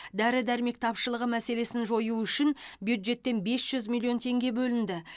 дәрі дәрмек тапшылығы мәселесін жою үшін бюджеттен бес жүз миллион теңге бөлінді